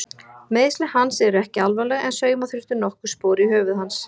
Meiðsli hans eru ekki alvarleg en sauma þurfti nokkur spor í höfuð hans.